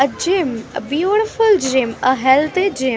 a gym a beautiful gym a healthy gym .